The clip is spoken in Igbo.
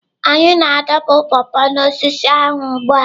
Anyị na-adọpụ paw paw n'osisi ahụ ugbu a.